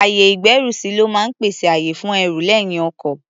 Ayè-ìgbẹ́rùsí ló máa ń pèsè àyè fún ẹrù lẹ́yìn ọkọ̀.